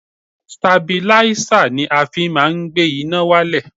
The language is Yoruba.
Stabilísà ni a fi má ń gbé iná wálẹ̀.